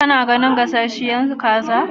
Ka na ganin gasasshiyar kaza?